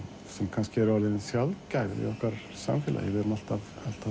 kannski er orðin sjaldgæf í okkar samfélagi við erum alltaf